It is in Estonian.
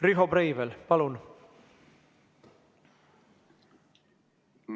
Riho Breivel, palun!